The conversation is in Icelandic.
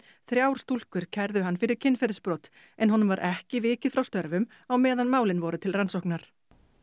þrjár stúlkur kærðu hann fyrir kynferðisbrot en honum var ekki vikið frá störfum á meðan málin voru til rannsóknar